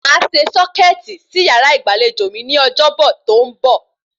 Màá se sọ́kẹ̀tì sí yàrá ìgbàlejò mi ní ọjọ́bọ̀ tí ó ń bọ̀